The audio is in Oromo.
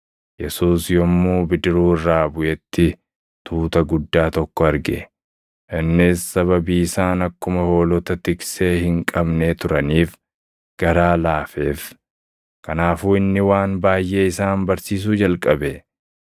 Yesuus yommuu bidiruu irraa buʼetti tuuta guddaa tokko arge; innis sababii isaan akkuma hoolota tiksee hin qabnee turaniif garaa laafeef. Kanaafuu inni waan baayʼee isaan barsiisuu jalqabe.